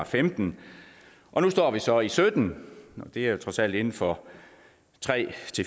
femten og nu står vi så i sytten det er jo trods alt inden for tre